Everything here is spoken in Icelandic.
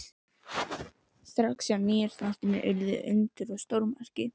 Strax á Nýársnóttina urðu undur og stórmerki.